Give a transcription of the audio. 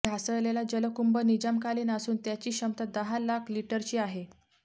ढासळलेला जलकुंभ निजामकालीन असून त्याची क्षमता दहा लाख लिटरची आहे